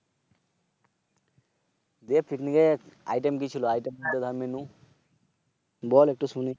যে Picnic এ Item কি ছিল? Item বলতে দর Menu বল একটু শুনি?